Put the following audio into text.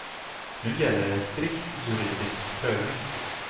Nu gäller det en strikt juridisk prövning.